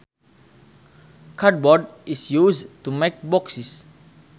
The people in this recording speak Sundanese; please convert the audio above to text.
Cardboard is used to make boxes